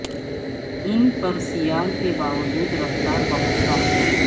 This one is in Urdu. ان پر سیال کے باوجود رفتار بہت کم ہے